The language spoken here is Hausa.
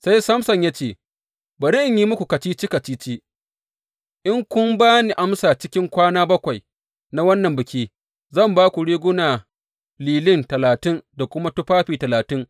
Sai Samson ya ce, Bari in yi muku kacici kacici, in kun ba ni amsa cikin kwana bakwai na wannan biki, zan ba ku riguna lilin talatin da kuma tufafi talatin.